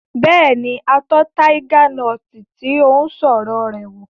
Bẹ́ẹ̀ni, a tọ́ taiga nọti tí ó ń sọ̀rọ̀ rẹ̀ wò